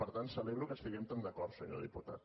per tant celebro que estiguem tan d’acord senyor diputat